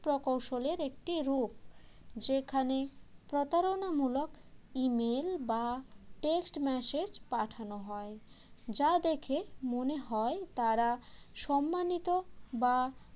প্রকৌশলের একটি রূপ যেখানে প্রতারণামূলক email বা text message পাঠানো হয় যা দেখে মনে হয় তাঁরা সম্মানিত বা